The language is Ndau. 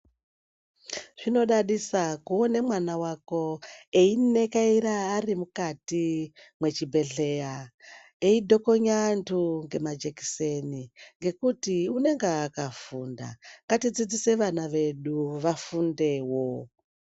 Zvinodadisa kuona mwana wako einekaira arimukati mwechi bhedhlera, eidhokonya antu ngema jekiseni, ngekuti unenge akafunda. Ngati dzidzise vana vedu vafundewo.